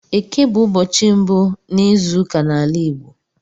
Éké bụ ụbọchị mbụ n'izuụka n'ala Igbo